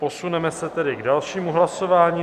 Posuneme se tedy k dalšímu hlasování.